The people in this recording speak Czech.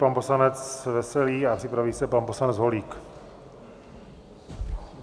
Pan poslanec Veselý a připraví se pan poslanec Holík.